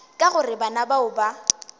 ka gore bana bao ba